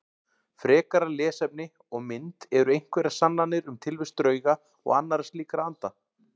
Frekara lesefni og mynd Eru einhverjar sannanir um tilvist drauga og annarra slíkra anda?